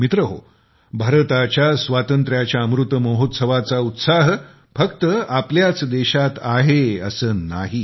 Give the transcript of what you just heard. मित्रहो भारताच्या स्वातंत्र्याच्या अमृत महोत्सवाचा उत्साह फक्त आपल्याच देशात आहे असे नव्हे